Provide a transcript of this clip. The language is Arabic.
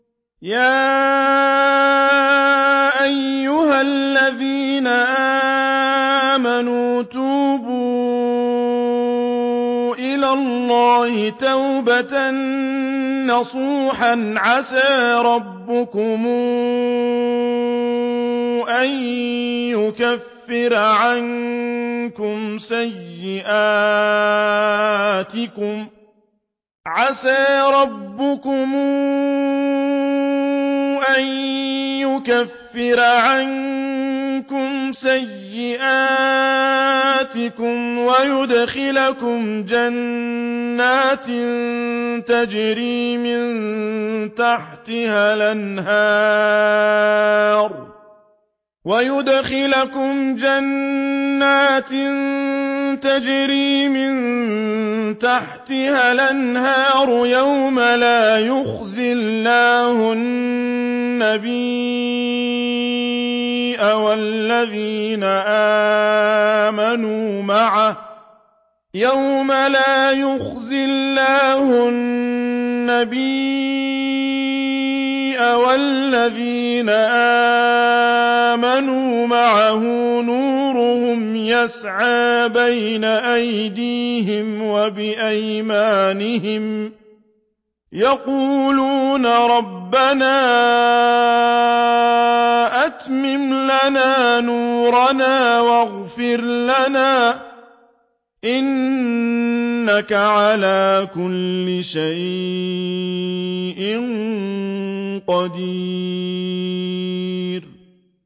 يَا أَيُّهَا الَّذِينَ آمَنُوا تُوبُوا إِلَى اللَّهِ تَوْبَةً نَّصُوحًا عَسَىٰ رَبُّكُمْ أَن يُكَفِّرَ عَنكُمْ سَيِّئَاتِكُمْ وَيُدْخِلَكُمْ جَنَّاتٍ تَجْرِي مِن تَحْتِهَا الْأَنْهَارُ يَوْمَ لَا يُخْزِي اللَّهُ النَّبِيَّ وَالَّذِينَ آمَنُوا مَعَهُ ۖ نُورُهُمْ يَسْعَىٰ بَيْنَ أَيْدِيهِمْ وَبِأَيْمَانِهِمْ يَقُولُونَ رَبَّنَا أَتْمِمْ لَنَا نُورَنَا وَاغْفِرْ لَنَا ۖ إِنَّكَ عَلَىٰ كُلِّ شَيْءٍ قَدِيرٌ